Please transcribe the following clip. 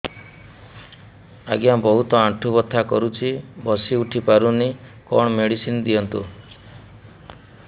ଆଜ୍ଞା ବହୁତ ଆଣ୍ଠୁ ବଥା କରୁଛି ବସି ଉଠି ପାରୁନି କଣ ମେଡ଼ିସିନ ଦିଅନ୍ତୁ